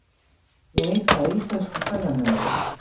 Leita að ítölskum ferðamanni